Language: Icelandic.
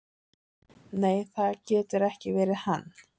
"""Nei, það getur ekki verið hann."""